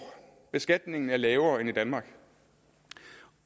beskatningen er lavere end i danmark